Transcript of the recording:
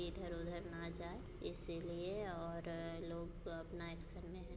इधर उधर ना जाए इसलिए और लोग अपना एक्शन में है।